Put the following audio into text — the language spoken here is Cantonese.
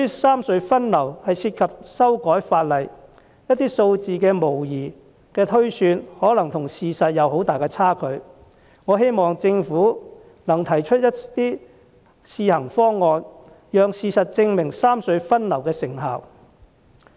三隧分流涉及修改法例，一些數字的模擬推算可能與事實有很大的差距，我希望政府能提出一些試行方案，讓事實證明三隧分流的成效。